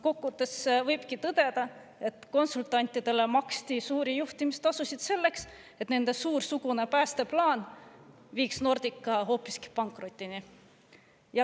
Kokku võttes võibki tõdeda, et konsultantidele maksti suuri juhtimistasusid selleks, et nende suursugune päästeplaan viiks Nordica hoopiski pankrotini.